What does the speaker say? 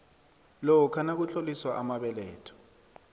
lokha nakutloliswa amabeletho